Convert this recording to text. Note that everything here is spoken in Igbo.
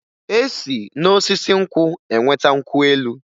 E si n'osisi nkwụ enweta nkwụ elu